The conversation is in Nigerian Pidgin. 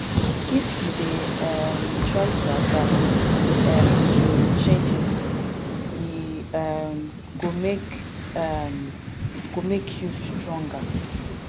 if you dey um try to adapt um to changes e um go make um go make you stronger